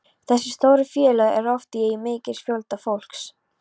Þessi stóru félög eru oft í eigu mikils fjölda fólks.